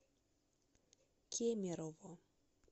кемерово